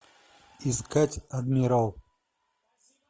искать адмирал